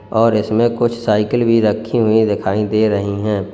और इसमें कुछ साइकिल भी रखी हुई दिखाई दे रही हैं।